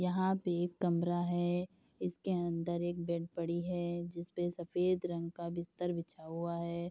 यहाँ पे एक कमरा है इसके अन्दर एक बेड पड़ी है जिसपे सफ़ेद रंग का बिस्तर बिछा हुआ है।